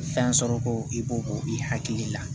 Fɛn sɔrɔ ko i b'o k'o i hakili la